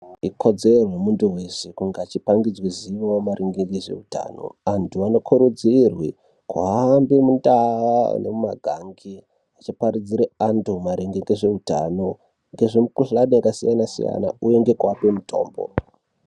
Ikodzero yemuntu weshe kunge achipangidzwe zivo maringe nezveutano. Antu anokurudzirwe kuhambe mundau nemumagangi achiparidzire antu maringe ngezveutano, ngezvemukhuhlani yakasiyana siyana, uye ngekuape mutombo.